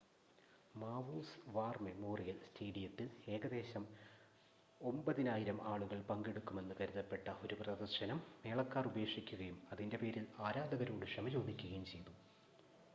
മാവൂസ് war memorial സ്റ്റേഡിയത്തിൽ ഏകദേശം 9,000 ആളുകൾ പങ്കെടുക്കുമെന്ന് കരുതപ്പെട്ട ഒരു പ്രദർശനം മേളക്കാർ ഉപേക്ഷിക്കുകയും അതിൻ്റെ പേരിൽ ആരാധകരോട് ക്ഷമ ചോദിക്കുകയും ചെയ്തു